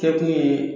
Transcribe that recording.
Kɛ kun ye